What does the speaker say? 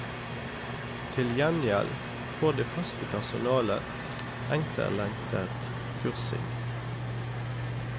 Til gjengjeld får det faste personalet etterlengtet kursing.